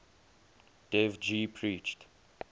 dev ji preached